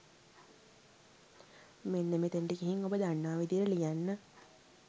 මෙන්න මෙතනට ගිහින් ඔබ දන්නා විදියට ලියන්න.